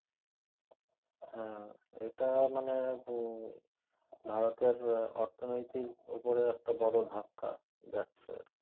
আহ এটা মানে ভু~ ভারতের অর্থনৌতিক উপরে একটা বড় ধাক্কা যাচ্ছে আর কি